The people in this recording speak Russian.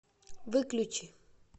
выключи